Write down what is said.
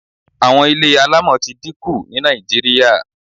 Àwọn ilé alámọ̀ ti dí ku ní Nàìjíríà